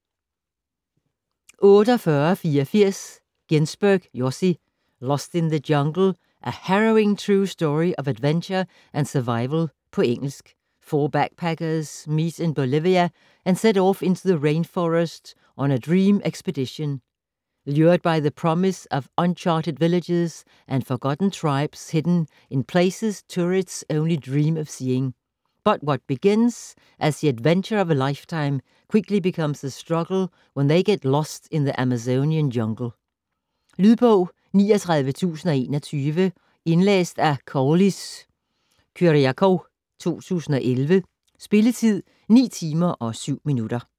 48.84 Ghinsberg, Yossi: Lost in the jungle: a harrowing true story of adventure and survival På engelsk. Four backpackers meet in Bolivia and set off into the rainforest on a dream expedition, lured by the promise of uncharted villages and forgotten tribes hidden in places tourists only dream of seeing. But what begins as the adventure of a lifetime quickly becomes a struggle when they get lost in the Amazonian jungle. Lydbog 39021 Indlæst af Koullis Kyriakou, 2011. Spilletid: 9 timer, 7 minutter.